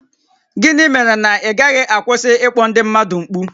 Gịnị mere na ị gaghị amụta ịkwụsị ịkpọ ndị mmadụ mkpu?